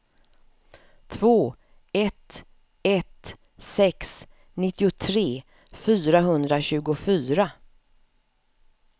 två ett ett sex nittiotre fyrahundratjugofyra